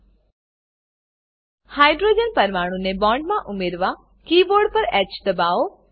hydrogen hydrogen પરમાણુને બોન્ડમાં ઉમેરવા કીબોર્ડ પર હ દબાવો